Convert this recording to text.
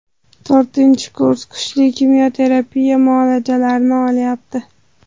To‘rtinchi kurs kuchli kimyo terapiya muolajalarini olyapti.